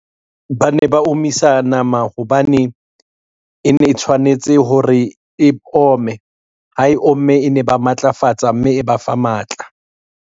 Ba ne ba omisa nama hobane, e ne e tshwanetse hore e ome, ha e omme e ne ba matlafatsa, mme e ba fa matla.